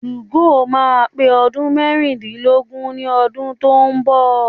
2go máa pé ọdún mẹ́rìndínlógún ní ọdún tó ń bọ̀.